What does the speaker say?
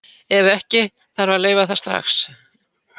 Ef ekki, þarf að leyfa það strax.